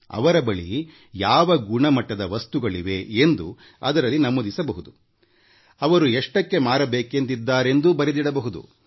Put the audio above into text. ಅವರು ವಸ್ತುವಿನ ಗುಣಮಟ್ಟ ಅವರು ಅದನ್ನು ಮಾರಾಟ ಮಾಡುವ ದರ ನಮೂದಿಸಬೇಕು